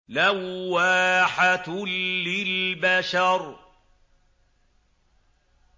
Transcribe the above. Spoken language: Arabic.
لَوَّاحَةٌ لِّلْبَشَرِ